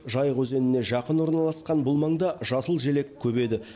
жайық өзеніне жақын орналасқан бұл маңда жасыл желек көп еді